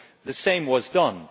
the same was done.